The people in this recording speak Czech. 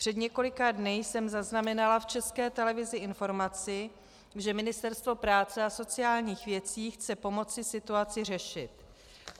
Před několika dny jsem zaznamenala v České televizi informaci, že Ministerstvo práce a sociálních věcí chce pomoci situaci řešit.